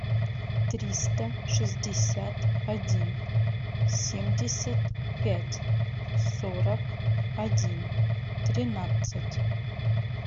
триста шестьдесят один семьдесят пять сорок один тринадцать